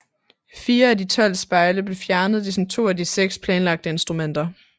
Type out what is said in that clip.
Fire af de tolv spejle blev fjernet ligesom to af de seks planlagte instrumenter